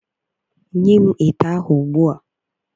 Nye m ite ahụ ugbua!